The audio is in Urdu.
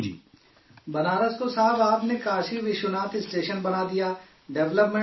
بنارس کو صاحب آپ نے کاشی وشوناتھ اسٹیشن بنا دیا، ڈیولپمنٹ کر دیا